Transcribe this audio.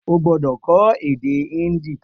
O gbódò kọ́ èdè híńdì